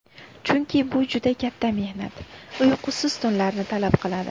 Chunki bu juda katta mehnat, uyqusiz tunlarni talab qiladi.